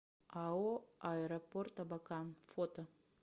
ао аэропорт абакан фото